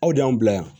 Aw de y'anw bila yan